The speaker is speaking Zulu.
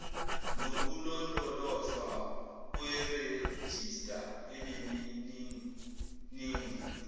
nokulondolozwa kwerejista enemininingo